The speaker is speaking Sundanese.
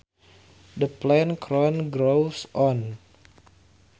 The plant corn grows on